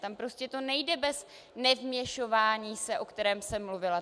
Tam prostě to nejde bez nevměšování se, o kterém jsem mluvila.